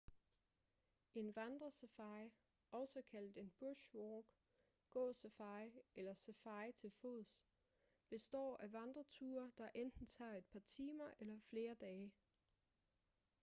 en vandresafari også kaldet en bush walk gå-safari eller safari til fods består af vandreture der enten tager et par timer eller flere dage